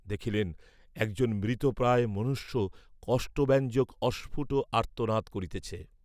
দেখিলেন একজন মৃতপ্রায় মনুষ্য কষ্টব্যঞ্জক অস্ফুট আর্ত্তনাদ করিতেছে।